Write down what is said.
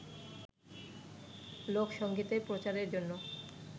লোকসংগীতের প্রচারের জন্য